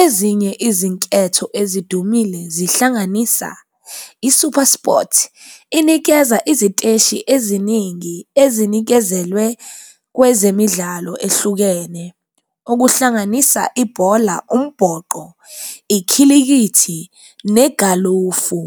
ezinye izinketho ezidumile zihlanganisa i-Supersport. Inikeza iziteshi eziningi ezinikezelwe kwezemidlalo ehlukene okuhlanganisa ibhola, umboqo, ikhilikithi, negalofu.